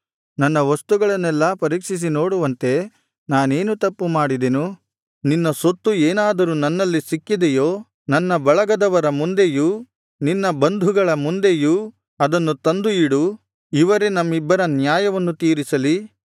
ನನ್ನ ವಸ್ತುಗಳನ್ನೆಲ್ಲಾ ಪರೀಕ್ಷಿಸಿ ನೋಡುವಂತೆ ನಾನೇನು ತಪ್ಪುಮಾಡಿದೆನು ನಿನ್ನ ಸೊತ್ತು ಏನಾದರೂ ನನ್ನಲ್ಲಿ ಸಿಕ್ಕಿದೆಯೋ ನನ್ನ ಬಳಗದವರ ಮುಂದೆಯೂ ನಿನ್ನ ಬಂಧುಗಳ ಮುಂದೆಯೂ ಅದನ್ನು ತಂದು ಇಡು ಇವರೇ ನಮ್ಮಿಬ್ಬರ ನ್ಯಾಯವನ್ನು ತೀರಿಸಲಿ